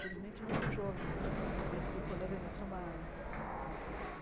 Felizmente, não por jovens né, mas por colegas de trabalho, de dizer assim,